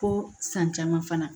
Fo san caman fana